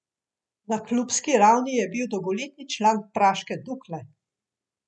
Na klubski ravni je bil dolgoletni član praške Dukle.